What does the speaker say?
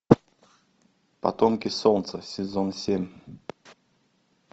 потомки солнца сезон семь